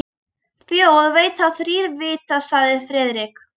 Þjóð veit þá þrír vita sagði Friðrik.